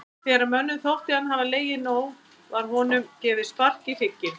Þegar mönnum þótti hann hafa legið nóg var honum gefið spark í hrygginn.